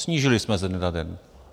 Snížili jsme ze dne na den.